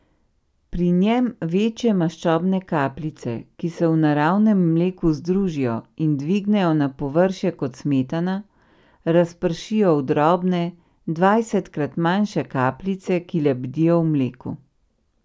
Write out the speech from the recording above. Pri njem večje maščobne kapljice, ki se v naravnem mleku združijo in dvignejo na površje kot smetana, razpršijo v drobne, dvajsetkrat manjše kapljice, ki lebdijo v mleku.